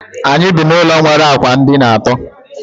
Anyị bi na ụlọ nwere ụlọ ákwà dina àtó